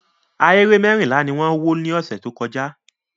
Ahéré mẹ́rìnlá ni wọ́n wó lọ́sẹ̀ tó kọjá.